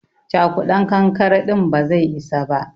Cakudan kankare din ba zai isa ba.